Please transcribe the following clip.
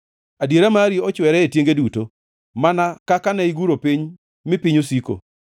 Adiera mari ochwere e tienge duto; mana kaka ne iguro piny mi piny osiko.